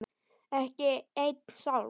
Ekki einn sálm.